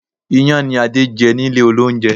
Iyán ni Adé jẹ nílé olóúnjẹ